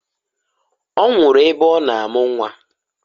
Ọ nwụrụ ebe ọ na amụ nnwa.